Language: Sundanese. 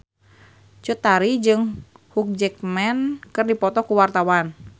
Cut Tari jeung Hugh Jackman keur dipoto ku wartawan